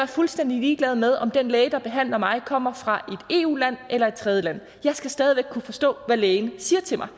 fuldstændig ligeglad med om den læge der behandler mig kommer fra et eu land eller et tredjeland jeg skal stadig væk kunne forstå hvad lægen siger til mig